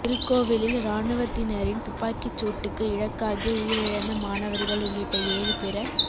திருக்கோவிலில் இராணுவத்தினரின் துப்பாக்கிச் சூட்டுக்கு இழக்காகி உயிரிழந்த மாணவர்கள் உள்ளிட்ட ஏழு பேர